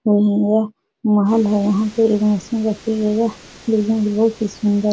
यह महल है। यहाँ पे एक मशीन रखी गई है। यह बोहोत ही सुंदर --